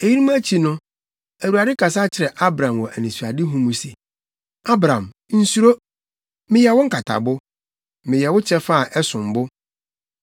Eyinom akyi no, Awurade kasa kyerɛɛ Abram wɔ anisoadehu mu se, “Abram, nsuro. Meyɛ wo nkatabo. Meyɛ wo kyɛfa a ɛsom bo.”